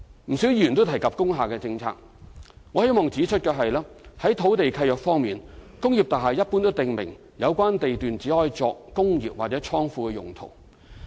不少議員也有提及工廈政策，我希望在此指出的是，在土地契約方面，工業大廈一般都訂明有關地段只許作"工業及/或倉庫"用途。